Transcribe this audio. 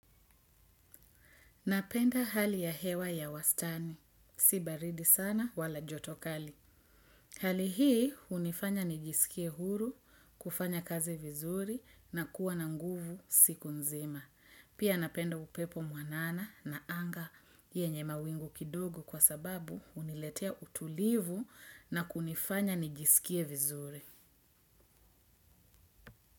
Napenda hali ya hewa ya wastani. Sibaridi sana wala jotokali. Hali hii unifanya nijisikie huru, kufanya kazi vizuri na kuwa na nguvu siku nzima. Pia napenda upepo mwanana na anga yenye mawingu kidogo kwa sababu uniletea utulivu na kunifanya nijisikie vizuri.